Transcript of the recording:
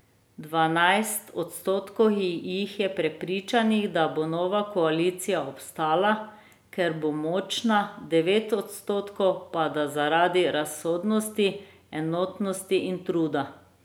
Dvanajst odstotkov jih je prepričanih, da bo nova koalicija obstala, ker bo močna, devet odstotkov pa da zaradi razsodnosti, enotnosti in truda.